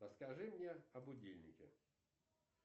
расскажи мне о будильнике